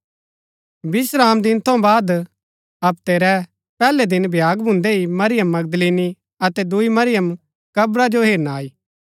विश्रामदिन थऊँ बाद हप्ते रै पैहलै दिन भ्याग भून्दै ही मरियम मगदलीनी अतै दूई मरियम कब्रा जो हेरना आई